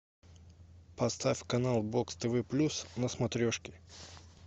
поставь канал бокс тв плюс на смотрешке